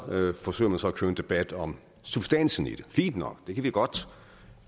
forsøger man at køre en debat om substansen i det fint nok den kan vi godt